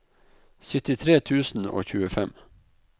syttitre tusen og tjuefem